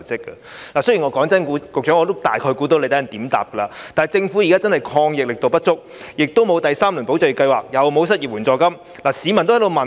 坦白說，我大概猜到局長稍後會怎樣回答我，但政府現時的抗疫力度確實不足，既沒有第三輪"保就業"計劃，又沒有失業援助金。